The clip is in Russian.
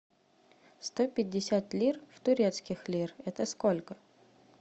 сто пятьдесят лир в турецких лир это сколько